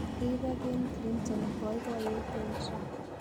Rireek en clinton, boibiyet en Trump.